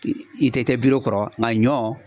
I tɛ tɛ bir'o kɔrɔ nka ɲɔ